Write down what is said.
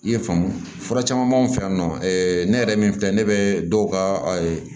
I ye faamu caman b'anw fɛ yan nɔ ne yɛrɛ min filɛ ne bɛ dɔw ka